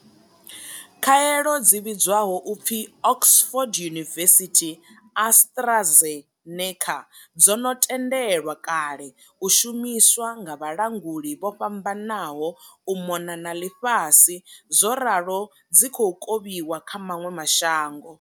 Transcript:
Khaelo dzi vhidzwaho u pfi Oxford University AtraZe neca dzo no tendelwa kale u shumiswa nga vhalanguli vho fhambananaho u mona na ḽifhasi zworalo dzi khou kovhiwa kha maṅwe ma shango.